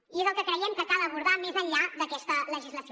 i és el que creiem que cal abordar més enllà d’aquesta legislació